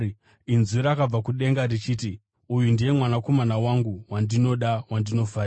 Inzwi rakabva kudenga richiti, “Uyu ndiye Mwanakomana wangu wandinoda, wandinofarira.”